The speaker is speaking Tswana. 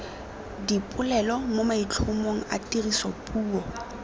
dipolelo mo maitlhomong a tirisopuo